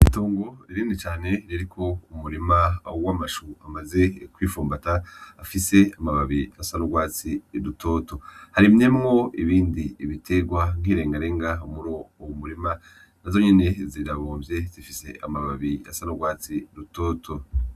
Itongo rinini cane ririko umurima w' amashu amaze kwi fumbata afise amababi asa n' ugwatsi rutoto, harimyemwo ibindi bitegwa nk' iregarenga muri uwo murima nazo nyene zirabomvye zifise amababi asa n' ugwatsi rutoto.